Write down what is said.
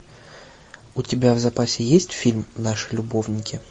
у тебя в запасе есть фильм наши любовники